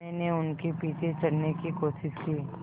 मैंने उनके पीछे चढ़ने की कोशिश की